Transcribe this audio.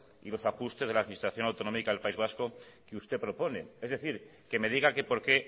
y los ajustes de la administración autonómica del país vasco que usted propone es decir que me diga que por qué